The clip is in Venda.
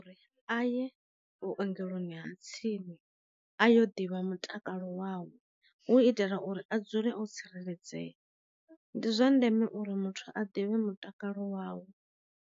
A ye vhu ongeloni ha tsini a yo ḓivha mutakalo wau, hu itela uri a dzule o tsireledzea, ndi zwa ndeme uri muthu a ḓivhe mutakalo wawe.